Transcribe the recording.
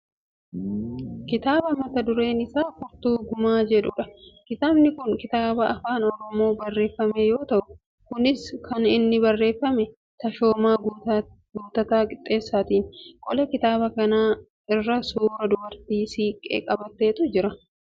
kitaaba mata dureen isaa Furtuu Gumaa jedhudha. Kitaabni kun kitaaba afaan oromoon barreeffame yoo ta'u kunis kan inni barreefame Tashoomaa Guuttataa Qixxeessaatiini. Qola kitaaba kanaa irra suuraa dubartii siiqqee qabatteetu jira.